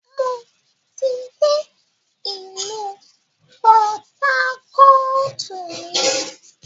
Mo ti gbé ìlú pọtákọ̀ọ̀tù rí